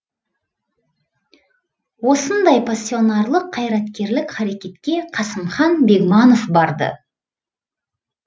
осындай пассионарлық қайреткерлік харекетке қасымхан бегманов барды